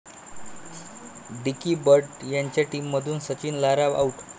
dickey Bird यांच्या टीममधून Sachin, Lara 'out'